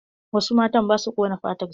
Wasu matan ba su ƙona fatar su.